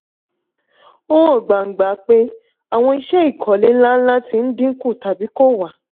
ó hàn gbangba pé àwọn iṣẹ́ ìkọ́lé ńláńlá ti ń dín kù tàbí kò wà.